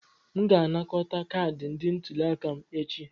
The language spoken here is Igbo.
M ga-anakọta kaadị ndị ntuli aka m echi.